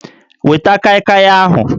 Weta kaịkaị ahụ!